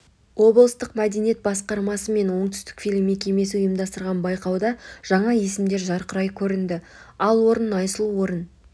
облыстық мәдениет басқармасы мен оңтүстікфильм мекемесі ұйымдастырған байқауда жаңа есімдер жарқырай көрінді ал орын айсұлу орын